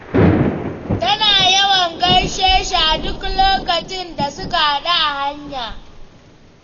Tana yawan gaishe shi a duk lokacin da suka haɗu a hanya.